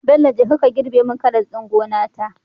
Bello jeka ka girbe mun karas ɗin gona ta